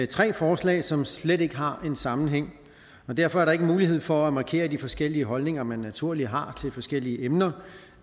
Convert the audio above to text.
tre forslag som slet ikke har en sammenhæng derfor er der ikke mulighed for at markere de forskellige holdninger man naturligt har til forskellige emner